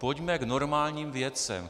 Pojďme k normálním věcem.